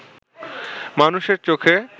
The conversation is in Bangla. মানুষের চোখে